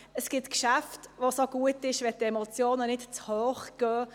Es gibt Geschäfte, bei denen es gut ist, wenn die Emotionen nicht allzu hoch gehen.